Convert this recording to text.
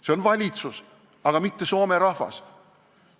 See on valitsus, aga mitte soome rahvas.